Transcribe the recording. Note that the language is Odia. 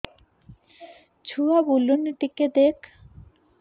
ଛୁଆ ବୁଲୁନି ଟିକେ ଦେଖ